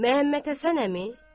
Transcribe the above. Məhəmməd Həsən əmi.